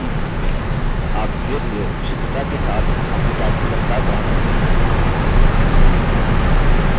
आप धीरेधीरे विशुद्धता के साथ अपनी typing रफ्तार बढ़ा सकते हैं